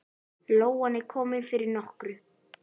Lóan er komin fyrir nokkru.